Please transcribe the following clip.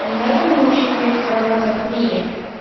не надо мне ущемлять права как мия